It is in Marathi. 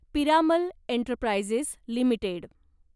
Piramal Enterprises limited